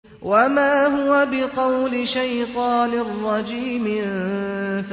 وَمَا هُوَ بِقَوْلِ شَيْطَانٍ رَّجِيمٍ